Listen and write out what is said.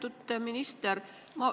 Lugupeetud minister!